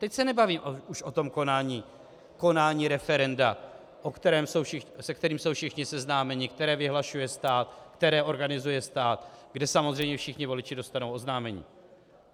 Teď se nebavíme už o tom konání referenda, se kterým jsou všichni seznámeni, které vyhlašuje stát, které organizuje stát, kde samozřejmě všichni voliči dostanou oznámení.